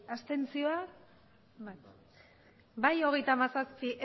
abstentzioak bai hogeita hamazazpi